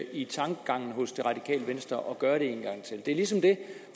i tankegangen hos det radikale venstre at gøre det en gang til det er ligesom det